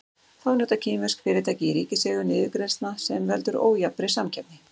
Þá njóta kínversk fyrirtæki í ríkiseigu niðurgreiðslna sem veldur ójafnri samkeppni.